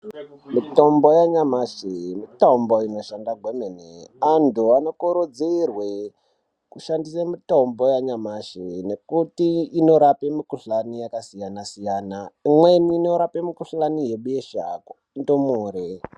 Mitombo yanyamashi mitombo inoshanda kwemene. Antu anokurudzirwe kushandisa mitombo yanyamashi nekuti inorape mukhuhlani yakasiyana-siyana. Imweni inorape mukhuhlani yebesha kundumure.